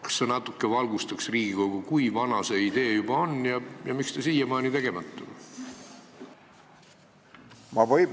Kas sa natuke valgustaksid Riigikogu, kui vana see idee juba on ja miks see siiamaani tegemata on?